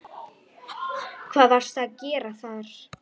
Hvað varstu að gera þar?